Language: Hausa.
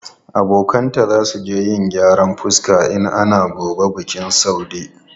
Abokanta za su je yin kwalliyan fuska in ana gobe bikin Saude.